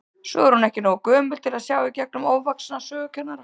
Svo er hún ekki nógu gömul til að sjá í gegnum ofvaxna sögukennara.